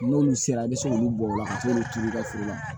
N'olu sera i bɛ se k'olu bɔ o la ka se k'olu turu i ka foro la